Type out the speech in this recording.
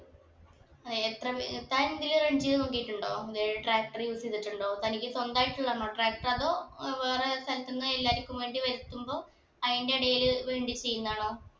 ഏർ എത്ര മീ താനിതില് run നോക്കീട്ടുണ്ടോ ഏർ tractor use ചെയ്തിട്ടുണ്ടോ തനിക്ക് സ്വന്തം ആയിട്ടുള്ളതാണോ tractor അതോ ഏർ വേറെ സ്ഥലത്തിന്ന് എല്ലാർക്കും വേണ്ടി വരുത്തുമ്പോ അയിന്റെ ഇടയിൽ വേണ്ടി ചെയ്യിന്നതാണോ